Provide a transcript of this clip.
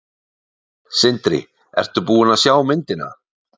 Sindri: Ertu búin að sjá myndina?